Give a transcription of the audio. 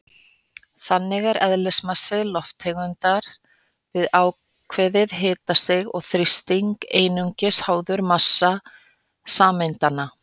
Þannig er eðlismassi lofttegundar við ákveðið hitastig og þrýsting einungis háður massa sameindanna.